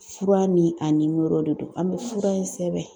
Fura ni a nimoro de don, an bɛ fura in sɛbɛn